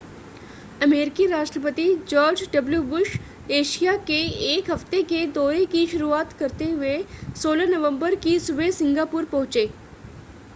अमेरिकी राष्ट्रपति George W Bush Asia के एक हफ़्ते के दौरे की शुरुआत करते हुए 16 नवंबर की सुबह सिंगापुर पहुंचे